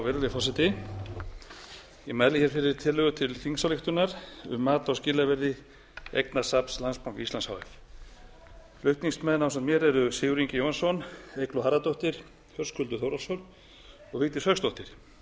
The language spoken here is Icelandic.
virðulegi forseti ég mæli fyrir tillögu til þingsályktunar um mat á skilaverði eignasafns landsbanka íslands h f flutningsmenn ásamt mér eru sigurður ingi jónsson eygló harðardóttir höskuldur þórhallsson og vigdís hauksdóttir